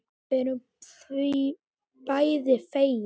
Við erum því bæði fegin.